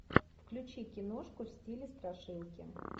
включи киношку в стиле страшилки